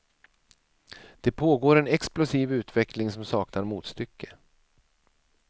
Det pågår en explosiv utveckling som saknar motstycke.